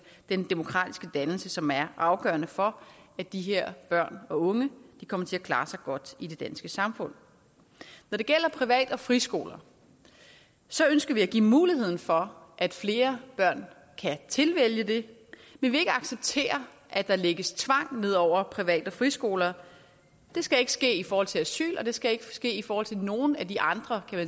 den demokratiske dannelse som er afgørende for at de her børn og unge kommer til at klare sig godt i det danske samfund når det gælder privat og friskoler ønsker vi at give muligheden for at flere børn kan tilvælge det vi vil ikke acceptere at der lægges tvang ned over private friskoler det skal ikke ske i forhold til asyl og det skal ikke ske i forhold til nogen af de andre